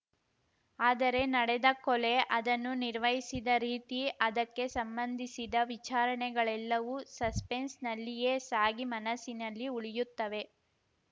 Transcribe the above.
ಆದರೆ ನಡೆದ ಕೊಲೆ ಅದನ್ನು ನಿರ್ವಹಿಸಿದ ರೀತಿ ಅದಕ್ಕೆ ಸಂಬಂಧಿಸಿದ ವಿಚಾರಣೆಗಳೆಲ್ಲವೂ ಸಸ್ಪೆನ್ಸ್‌ನಲ್ಲಿಯೇ ಸಾಗಿ ಮನಸ್ಸಿನಲ್ಲಿ ಉಳಿಯುತ್ತವೆ